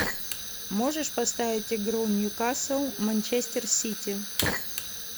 можешь поставить игру ньюкасл манчестер сити